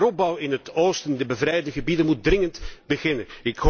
De heropbouw in het oosten, de bevrijde gebieden, moet dringend beginnen.